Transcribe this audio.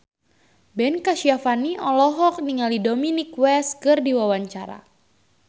Ben Kasyafani olohok ningali Dominic West keur diwawancara